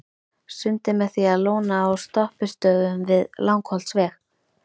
Sundið með því að lóna á stoppistöðvum við Langholtsveg.